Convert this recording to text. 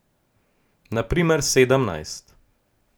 Na primer sedemnajst.